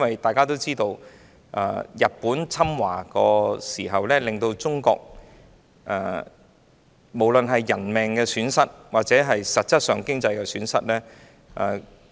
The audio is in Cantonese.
大家也知道，在日本侵華時，中國在人命或經濟方面均蒙受損失。